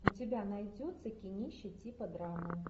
у тебя найдется кинище типа драмы